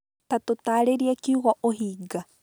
Ta ũtaarĩrie kiugo ũhinga